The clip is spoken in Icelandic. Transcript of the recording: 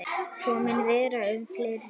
Svo mun vera um fleiri.